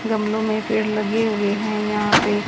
गमलों में पेड़ लगे हुए हैं यहां पे--